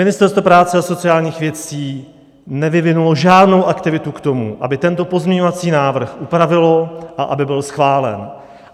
Ministerstvo práce a sociálních věcí nevyvinulo žádnou aktivitu k tomu, aby tento pozměňovací návrh upravilo a aby byl schválen.